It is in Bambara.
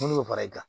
N'u y'o fara i kan